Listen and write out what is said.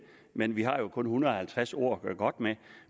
men vi har jo kun en hundrede og halvtreds ord at gøre godt med